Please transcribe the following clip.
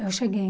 Eu cheguei.